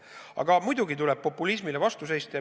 Aga muidugi tuleb populismile vastu seista.